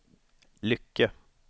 Lycke